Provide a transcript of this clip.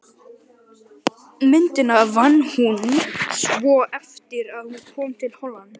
Myndina vann hún svo eftir að hún kom til Hollands.